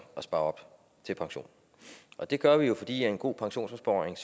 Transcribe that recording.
at spare op til pension og det gør vi jo fordi en god pensionsopsparing